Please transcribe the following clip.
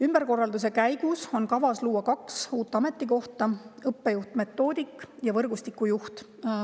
" Ümberkorralduse käigus on kavas luua kaks uut ametikohta: õppejuht-metoodik ja võrgustiku juht.